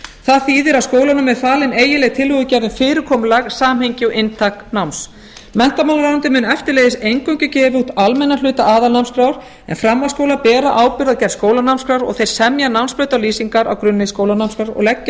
það þýðir að skólunum er falin eiginleg tillögugerð um fyrirkomulag samhengi og inntak náms menntamálaráðuneytið mun eftirleiðis eingöngu gefa út almennan hluta aðalnámskrár en framhaldsskólar bera ábyrgð á gerð skólanámskrár og þeir semja um námsbrautir og lýsingar á grunni skólanámskrár og leggja